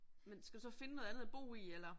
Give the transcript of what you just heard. Men skal du så finde noget andet at bo i eller?